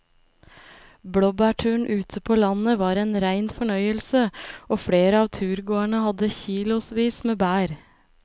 Blåbærturen ute på landet var en rein fornøyelse og flere av turgåerene hadde kilosvis med bær.